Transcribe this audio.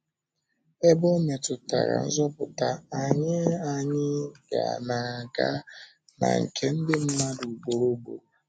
Ebe ọ̀ métụtara nzọpụta, anyị anyị na-aga na nke ndị mmadụ ugboro ugboro.